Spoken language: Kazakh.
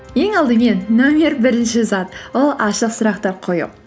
ең алдымен нөмір бірінші зат ол ашық сұрақтар қою